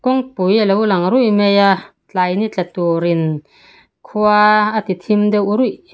kawng pui alo lang ruih mai a tlai ni tla turin khua a ti thim deuh ruih.